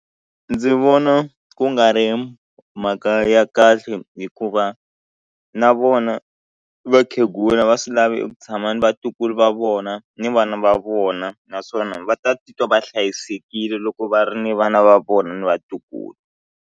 Ndzi vona ku nga ri mhaka ya kahle hikuva na vona vakhegula va swi lavi ku tshama ni vatukulu va vona ni vana va vona naswona va ta titwa va hlayisekile loko va ri ni vana va vona na vatukulu.